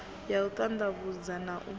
ya u ṱanḓavhudza na u